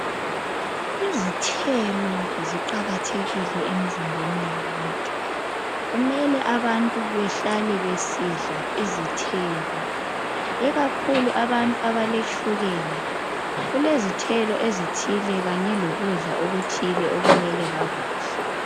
Izithelo ziqakathekile emizimbeni yabantu ,kumele abantu behlale besidla izithelo .Ikakhulu abantu abaletshukela ,kulezithelo ezithile Kanye lokudla okuthi okumele bakudle.